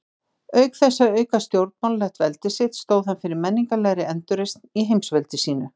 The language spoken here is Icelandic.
Auk þess að auka stjórnmálalegt veldi sitt, stóð hann fyrir menningarlegri endurreisn í heimsveldi sínu.